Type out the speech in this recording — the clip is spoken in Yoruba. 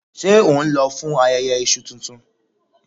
Ṣé ohun lọ fún ayẹyẹ Iṣu tuntun?